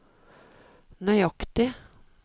nøyaktig